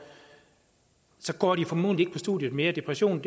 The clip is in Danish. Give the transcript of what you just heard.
går de formodentlig ikke studiet mere depression